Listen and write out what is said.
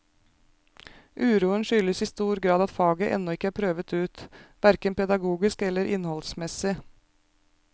Uroen skyldes i stor grad at faget ennå ikke er prøvet ut, hverken pedagogisk eller innholdsmessig.